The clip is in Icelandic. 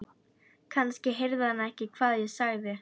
Kannski heyrði hann ekki hvað ég sagði.